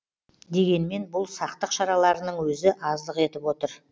дегенмен бұл сақтық шараларының өзі аздық етіп отыр